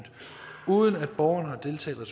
uden at borgeren har deltaget